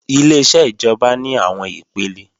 Ileṣẹ́ ìjọba ní àwọn ipele